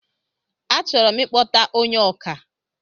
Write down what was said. A chọrọ ikpọta ónyé ọkà